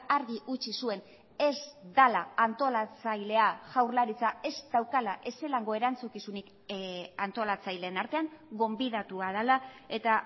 argi utzi zuen ez dela antolatzailea jaurlaritza ez daukala ezelango erantzukizunik antolatzaileen artean gonbidatua dela eta